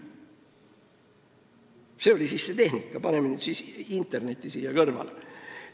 Selline oli siis see tehnika ja paneme nüüd interneti siia kõrvale.